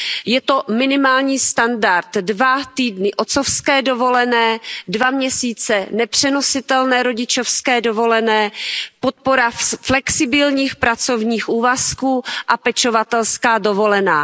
Je to minimální standard, dva týdny otcovské dovolené, dva měsíce nepřenositelné rodičovské dovolené, podpora flexibilních pracovních úvazků a pečovatelská dovolená.